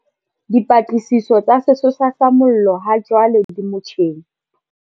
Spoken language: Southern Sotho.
Dipatlisiso tsa sesosa sa mollo hajwale di motjheng.